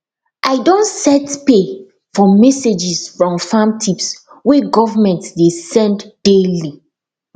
i don set pay for messages from farm tips wey government dey send daily